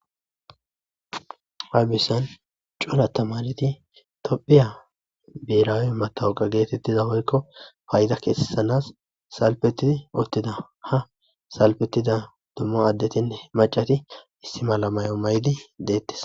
Ha bessan cora tamaareti tophiya birawu mettaweqiya getetiya kessanaas salpeneqida. Uttida Salpetida duma adetine maccati issi mala Myo mayidi Detes